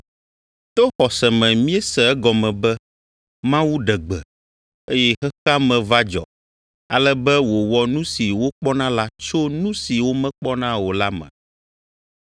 To xɔse me míese egɔme be Mawu ɖe gbe, eye xexea me va dzɔ, ale be wòwɔ nu si wokpɔna la tso nu si womekpɔna o la me.